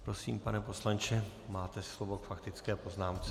Prosím, pane poslanče, máte slovo k faktické poznámce.